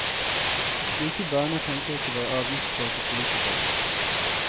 I slike baner tenker ikke våre avgiftskåte politikere.